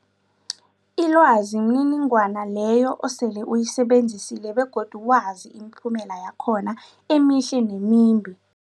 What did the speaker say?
Ilwazi mniningwana leyo osele uyisebenzisile begodu wazi imiphumela yakhona emihle nemimbi.